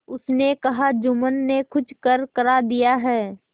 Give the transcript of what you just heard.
उसने कहाजुम्मन ने कुछ करकरा दिया है